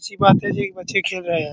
अच्छी बात है जी बच्चे खेल रहें हैं।